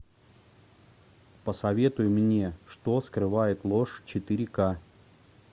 посоветуй мне что скрывает ложь четыре ка